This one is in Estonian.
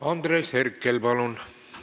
Andres Herkel, palun!